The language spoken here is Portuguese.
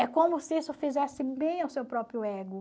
É como se isso fizesse bem ao seu próprio ego.